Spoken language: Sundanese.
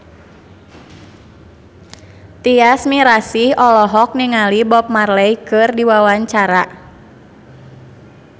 Tyas Mirasih olohok ningali Bob Marley keur diwawancara